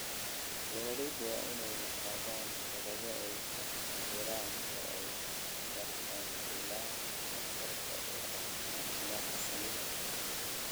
Beeralaydu waa inay lahaadaan xeelado ay ku cabbiraan oo ay ku gartaan ilaha khatarta u ah caafimaadka shinnida.